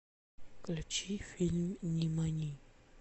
включи фильм нимани